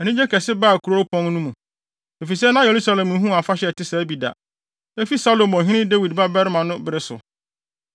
Anigye kɛse baa kuropɔn no mu, efisɛ na Yerusalem nhuu afahyɛ a ɛte sɛɛ bi da, efi Salomo ɔhene Dawid babarima no bere so.